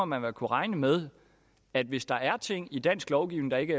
man må kunne regne med at hvis der er ting i dansk lovgivning der ikke